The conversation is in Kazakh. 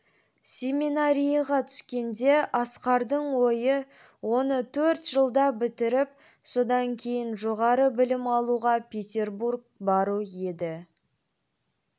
семинарияға түскенде асқардың ойы оны төрт жылда бітіріп содан кейін жоғары білім алуға петербург бару еді